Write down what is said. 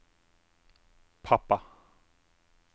pappa